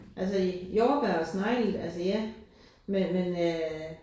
Altså jordbær og snegle altså ja men men øh